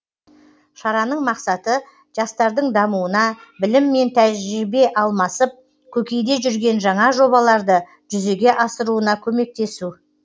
шараның мақсаты жастардың дамуына білім және тәжірибе алмасып көкейде жүрген жаңа жобаларды жүзеге асыруына көмектесу